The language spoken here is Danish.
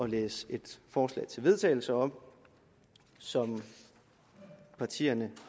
læse et forslag til vedtagelse op som partierne